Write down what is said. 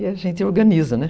E a gente organiza, né?